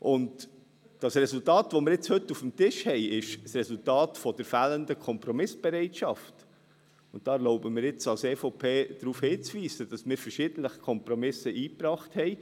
Das Resultat, das wir nun heute auf dem Tisch haben, ist das Resultat der fehlenden Kompromissbereitschaft, und da erlaube ich mir nun seitens der EVP darauf hinzuweisen, dass wir verschiedentlich Kompromisse eingebracht haben.